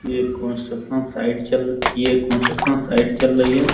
यह construction site चल ये कंस्ट्रक्शन साइट चल रही है।